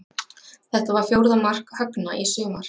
Þetta var fjórða mark Högna í sumar.